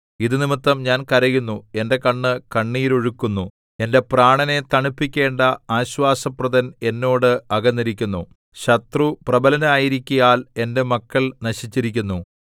ഇത് നിമിത്തം ഞാൻ കരയുന്നു എന്റെ കണ്ണ് കണ്ണുനീരൊഴുക്കുന്നു എന്റെ പ്രാണനെ തണുപ്പിക്കേണ്ട ആശ്വാസപ്രദൻ എന്നോട് അകന്നിരിക്കുന്നു ശത്രു പ്രബലനായിരിക്കയാൽ എന്റെ മക്കൾ നശിച്ചിരിക്കുന്നു